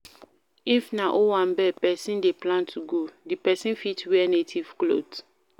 If na owambe person dey plan to go, di person fit wear native cloth